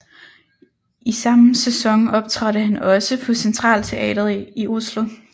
I sammen sæson optrådte han også på Centralteatret i Oslo